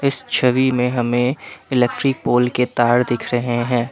छवि में हमें electric pole के तार दिख रहे हैं।